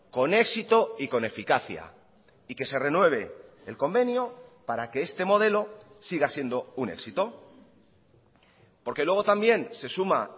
con éxito y con eficacia y que se renueve el convenio para que este modelo siga siendo un éxito porque luego también se suma